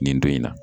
Nin don in na